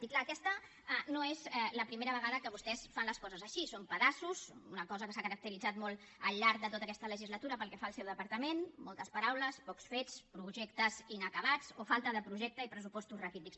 i clar aquesta no és la primera vegada que vostès fan les coses així són pedaços una cosa amb què s’ha caracteritzat molt al llarg de tota aquesta legislatura pel que fa al seu departament moltes paraules pocs fets projectes inacabats o falta de projecte i pressupostos raquítics